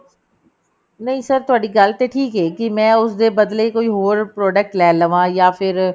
ਨਹੀਂ sir ਤੁਹਾਡੀ ਗੱਲ ਤੇ ਠੀਕ ਐ ਕਿ ਮੈਂ ਉਸਦੇ ਬਦਲੇ ਕੋਈ ਹੋਰ product ਲੈ ਲਵਾ ਜਾਂ ਫਿਰ